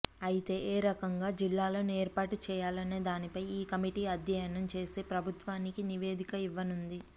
అయితే ఏ రకంగా జిల్లాలను ఏర్పాటు చేయాలనే దానిపై ఈ కమిటీ అధ్యయనం చేసి ప్రభుత్వానికి నివేదిక ఇవ్వనుంది